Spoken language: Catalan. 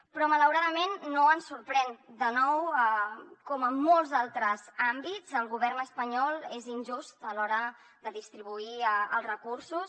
però malauradament no ens sorprèn de nou com en molts altres àmbits el go·vern espanyol és injust a l’hora de distribuir els recursos